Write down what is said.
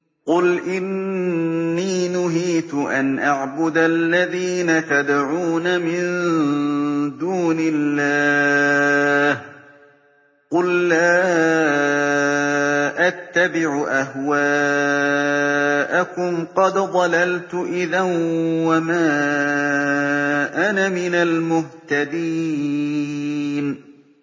قُلْ إِنِّي نُهِيتُ أَنْ أَعْبُدَ الَّذِينَ تَدْعُونَ مِن دُونِ اللَّهِ ۚ قُل لَّا أَتَّبِعُ أَهْوَاءَكُمْ ۙ قَدْ ضَلَلْتُ إِذًا وَمَا أَنَا مِنَ الْمُهْتَدِينَ